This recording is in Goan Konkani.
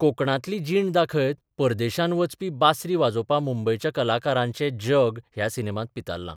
कोंकणांतली जीण दाखयत परदेशांत बचपी बासरी वाजोवपी मुंबयच्या कलाकाराचें जग ह्या सिनेमांत पितारलां.